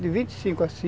de vinte e cinco a